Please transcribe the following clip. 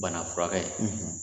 Bana furakɛ ye.